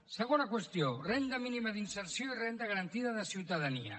segona qüestió renda mínima d’inserció i renda garantida de ciutadania